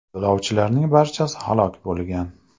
Yo‘lovchilarning barchasi halok bo‘lgan.